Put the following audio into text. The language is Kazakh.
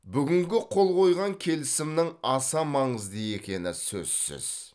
бүгінгі қол қойған келісімнің аса маңызды екені сөзсіз